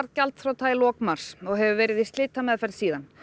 gjaldþrota í lok mars og hefur verið í slitameðferð síðan